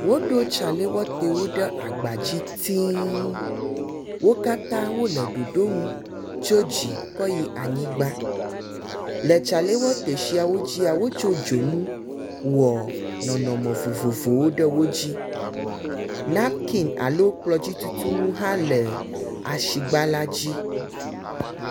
Woɖo tsalɛwɔtɛwo ɖe agba dzi tiiiŋ. Wo katã wole ɖoɖo ŋu tso dzi kɔ yi anyigba. Le tsalɛwɔtɛ siwo dzia, wotsɔ dzonu wɔ nɔnɔme vovovowo ɖe wo dzi. Namkin alo kplɔdzi tutunu hã le asigba la dzi.